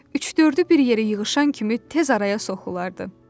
Üç-dördü bir yerə yığışan kimi tez araya soxulardı.